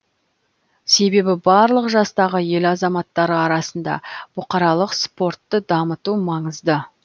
себебі барлық жастағы ел азаматтары арасында бұқаралық спортты дамыту маңызды